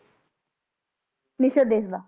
ਨਿਸ਼ਦ ਦੇਸ਼ ਦਾ